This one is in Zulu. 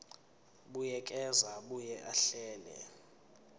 buyekeza abuye ahlele